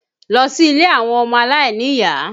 Lọ sí ilé àwọn ọmọ aláìníyàá!